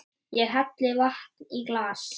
Ég helli vatni í glas.